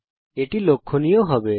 এটি ত্রিভুজকে লক্ষণীয় করবে